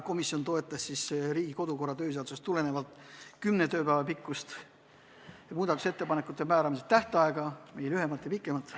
Oli otsus toetada Riigikogu kodu- ja töökorra seadusest tulenevalt kümne tööpäeva pikkust muudatusettepanekute määramise tähtaega – ei lühemat ega pikemat.